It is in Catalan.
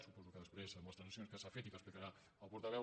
suposo que després amb les transaccions que s’han fet i que explicarà el portaveu